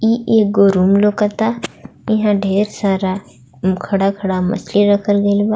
एगो रूम आई लौक ता ईहा ढेर सारा बड़ा बड़ा मछली रखल गेल बा.